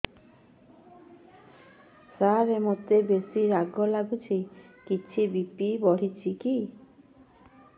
ସାର ମୋତେ ବେସି ରାଗ ଲାଗୁଚି କିଛି ବି.ପି ବଢ଼ିଚି କି